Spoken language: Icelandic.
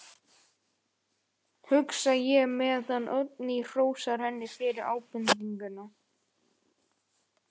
Bókin felur í sér umfangsmikla umræðu um merkingu orðsins hjónaband.